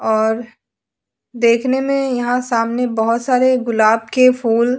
और देखने में यहां सामने बहुत सारे गुलाब के फूल।